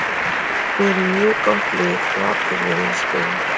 Við erum með mjög gott lið og allir vilja spila.